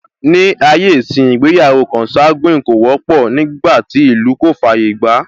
Ní ayé ìsínyi, ìgbéyàwó consanguine kò wọ́pọ̀, nígbàtí ìlú kò fàyè gbàá